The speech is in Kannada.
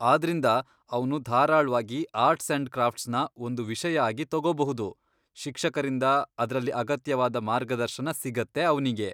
ಆದ್ರಿಂದ ಅವ್ನು ಧಾರಾಳ್ವಾಗಿ ಆರ್ಟ್ಸ್ ಅಂಡ್ ಕ್ರಾಫ್ಟ್ಸ್ನ ಒಂದು ವಿಷಯ ಆಗಿ ತಗೋಬಹುದು.. ಶಿಕ್ಷಕರಿಂದ ಅದ್ರಲ್ಲಿ ಅಗತ್ಯವಾದ ಮಾರ್ಗದರ್ಶನ ಸಿಗತ್ತೆ ಅವ್ನಿಗೆ.